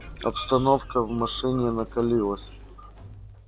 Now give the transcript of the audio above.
обстановка в машине накалилась